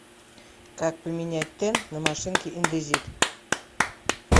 как поменять тен на машинке индезит